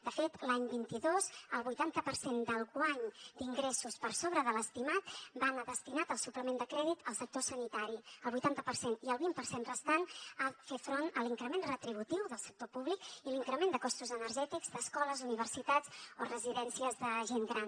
de fet l’any vint dos el vuitanta per cent del guany d’ingressos per sobre de l’estimat va anar destinat al suplement de crèdit al sector sanitari el vuitanta per cent i el vint per cent restant a fer front a l’increment retributiu del sector públic i l’increment de costos energètics d’escoles universitats o residències de gent gran